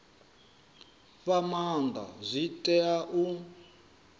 fha maanda zwi tea u